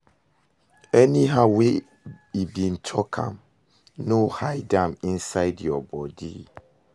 Anyhow wey e be talk am, no hide am inside yur body